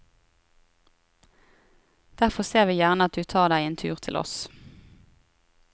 Derfor ser vi gjerne at du tar deg en tur til oss.